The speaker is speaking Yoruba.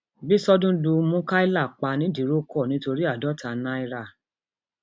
bíṣọdún lu mukaila pa nìdírọkọ nítorí àádọta náírà